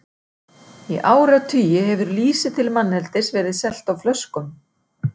Í áratugi hefur lýsi til manneldis verið selt á flöskum.